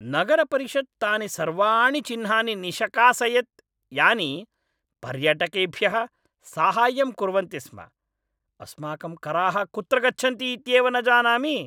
नगरपरिषत् तानि सर्वाणि चिह्नानि निषकासयत् यानि पर्यटकेभ्यः साहाय्यं कुर्वन्ति स्म। अस्माकं कराः कुत्र गच्छन्ति इत्येव न जानामि।